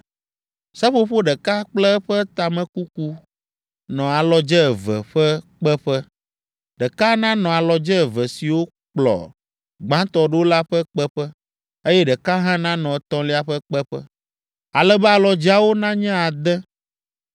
Seƒoƒo ɖeka kple eƒe tamekuku nɔ alɔdze eve ƒe kpeƒe; ɖeka nanɔ alɔdze eve siwo kplɔ gbãtɔ ɖo la ƒe kpeƒe, eye ɖeka hã nanɔ etɔ̃lia ƒe kpeƒe, ale be alɔdzeawo nanye ade.